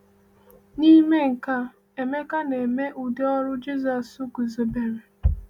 N’ime nke a, Emeka na-eme ụdị ọrụ Jisọs guzobere.